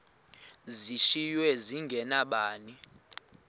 zishiywe zinge nabani